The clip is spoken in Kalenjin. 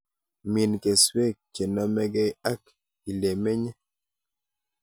Min keswek chenomekei ak ilemenye